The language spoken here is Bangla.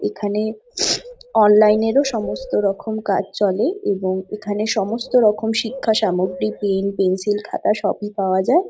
এখানে অনলাইন এর ও সমস্ত রকম কাজ চলে এবং এখানে সমস্ত রকম শিক্ষা সামগ্রী পেন পেন্সিল খাতা সবই পাওয়া যায়।